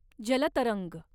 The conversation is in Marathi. जल तरंग